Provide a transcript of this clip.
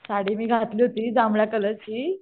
साडी मी घातली होती जांभळ्या कलरची.